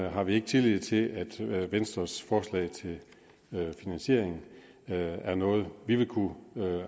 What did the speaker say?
har vi ikke tillid til at venstres forslag til finansiering er noget vi vil kunne